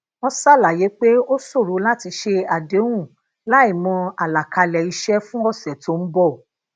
wọn ṣàlàyé pé ó ṣòro láti ṣe àdéhùn láìmọ alakale ise fun ose to n bo